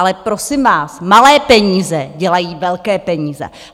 Ale, prosím vás, malé peníze dělají velké peníze.